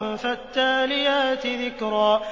فَالتَّالِيَاتِ ذِكْرًا